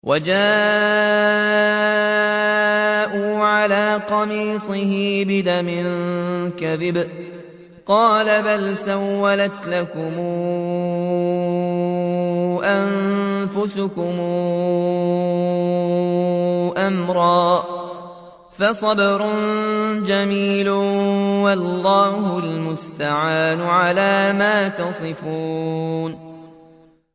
وَجَاءُوا عَلَىٰ قَمِيصِهِ بِدَمٍ كَذِبٍ ۚ قَالَ بَلْ سَوَّلَتْ لَكُمْ أَنفُسُكُمْ أَمْرًا ۖ فَصَبْرٌ جَمِيلٌ ۖ وَاللَّهُ الْمُسْتَعَانُ عَلَىٰ مَا تَصِفُونَ